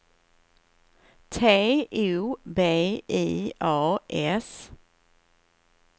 T O B I A S